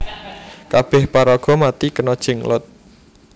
Kabeh paraga mati kena Jenglot